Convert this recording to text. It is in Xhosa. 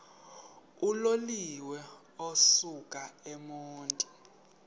uloliwe ukusuk emontini